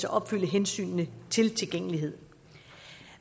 opfylde hensynene til tilgængelighed